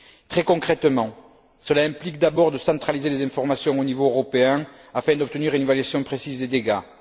Très concrètement, cela implique d'abord de centraliser les informations au niveau européen afin d'obtenir une évaluation précise des dégâts.